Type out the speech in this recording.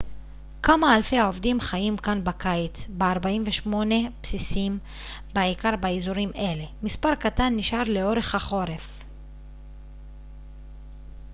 כמה אלפי עובדים חיים כאן בקיץ ב-48 בסיסים בעיקר באזורים אלה מספר קטן נשאר לאורך החורף